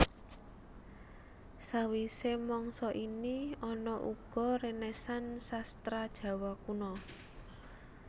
Sawisé mangsa ini ana uga renaisans Sastra Jawa Kuna